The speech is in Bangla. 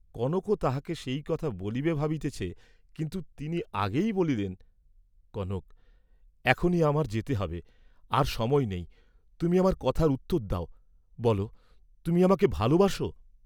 কনকও তাঁহাকে সেই কথা বলিবে ভাবিতেছে, কিন্তু তিনি আগেই বলিলেন, কনক এখনি আমার যেতে হবে, আর সময় নেই, তুমি আমার কথার উত্তর দাও, বল তুমি আমাকে ভালবাস?